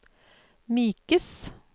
mykes